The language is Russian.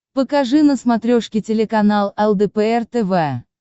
покажи на смотрешке телеканал лдпр тв